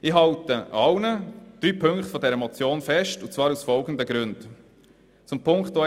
Ich halte aus folgenden Gründen an allen drei Punkten fest.